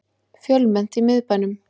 Fjölmennt í miðbænum